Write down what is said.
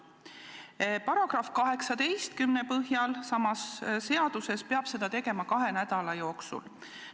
Sama seaduse § 18 põhjal peab seda tegema kahe nädala jooksul.